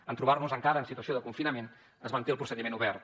en trobar nos encara en situació de confinament es manté el procediment obert